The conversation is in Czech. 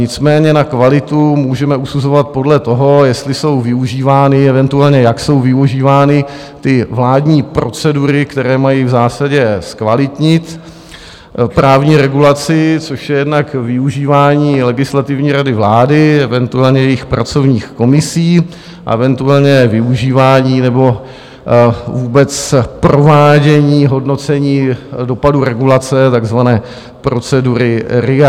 Nicméně na kvalitu můžeme usuzovat podle toho, jestli jsou využívány, eventuálně jak jsou využívány ty vládní procedury, které mají v zásadě zkvalitnit právní regulaci, což je jednak využívání Legislativní rady vlády, eventuálně jejích pracovních komisí, eventuálně využívání nebo vůbec provádění hodnocení dopadů regulace, takzvané procedury RIA.